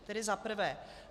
Tedy za prvé.